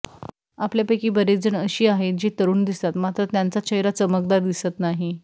आपल्यापैकी बरेच जण अशी आहेत जे तरुण दिसतात मात्र त्यांचा चेहरा चमकदार दिसत नाही